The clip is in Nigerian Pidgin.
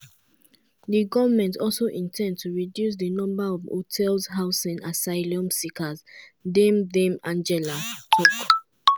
di goment also in ten d to reduce di number of hotels housing asylum seekers dame dame angela tok.